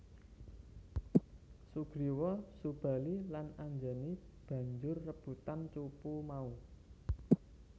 Sugriwa Subali lan Anjani banjur rebutan cupu mau